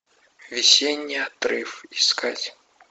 весенний отрыв искать